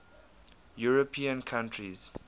european countries